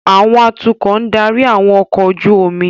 Àwọn atukọ̀ ń darí àwọn ọkọ̀ ojú omi